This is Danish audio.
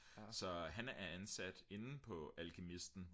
så han er ansat inde på alkymisten